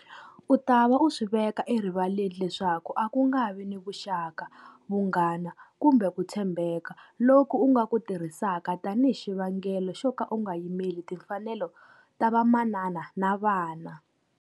U ta va u swi veka erivaleni leswaku a ku nga vi ni vuxaka, vunghana kumbe ku tshembeka loku u nga ku tirhisaka tanihi xivangelo xo ka u nga yimeli timfanelo ta vamanana na vana.